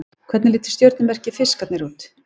Hvernig lítur stjörnumerkið Fiskarnir út?